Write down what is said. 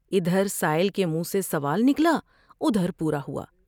ادھر سائل کے منہ سے سوال نکلا اور پورا ہوا ۔